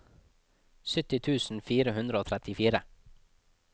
sytti tusen fire hundre og trettifire